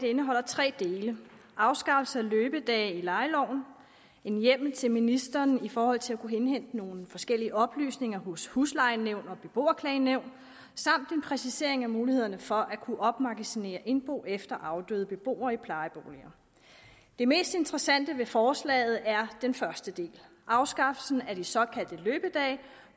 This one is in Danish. indeholder tre dele afskaffelse af løbedage i lejeloven en hjemmel til ministeren i forhold til at kunne indhente nogle forskellige oplysninger hos huslejenævn og beboerklagenævn samt en præcisering af mulighederne for at kunne opmagasinere indbo efter afdøde beboere i plejeboliger det mest interessante ved forslaget er den første del afskaffelsen af de såkaldte løbedage